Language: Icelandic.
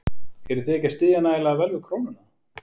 Eruð þið ekki að styðja nægilega vel við krónuna?